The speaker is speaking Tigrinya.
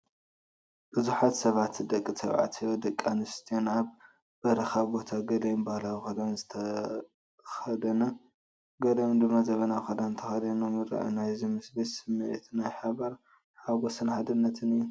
ብዙሓት ሰባት ደቂ ተባዕትዮን ደቂ ኣንስትዮን ኣብ በረኻ ቦታ፣ ገሊኦም ባህላዊ ክዳን ዝተኸደ፡ ገሊኦም ድማ ዘመናዊ ክዳን ተኸዲኖም ይረኣዩ። ናይዚ ምስሊ ስምዒት ናይ ሓባር ሓጎስን ሓድነትን እዩ።